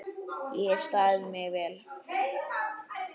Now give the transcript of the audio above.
Ég hef staðið mig vel.